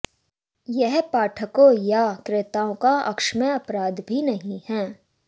यह पाठकों या क्रेताओं का अक्षम्य अपराध भी नहीं है